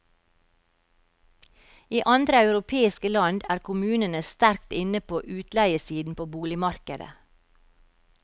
I andre europeiske land er kommunene sterkt inne på utleiesiden på boligmarkedet.